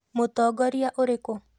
Mũtongoria ũrekũ